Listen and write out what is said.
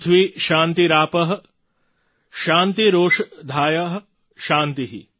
પૃથ્વી શાન્તિરાપ શાન્તિરોષધય શાન્તિ